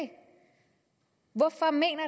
hvorfor mener